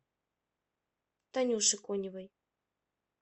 танюше коневой